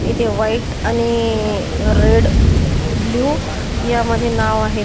इथे व्हाईट आणि red blue या मध्ये नाव आहे.